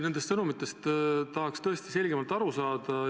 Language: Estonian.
Nendest sõnumitest tahaks tõesti selgemalt aru saada.